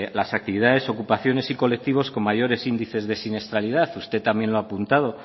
las actividades ocupaciones y colectivos con mayores índices de siniestralidad usted también lo ha apuntado